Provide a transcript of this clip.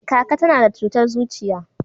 kaka ta na da cutar zuciya